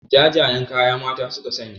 Jajayen kaya mata suka sanya